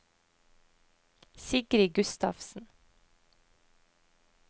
Sigrid Gustavsen